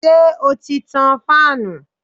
Ṣé o ti tan fáànù?